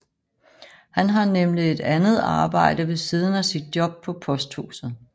Han har nemlig et andet arbejde ved siden af sit job på posthuset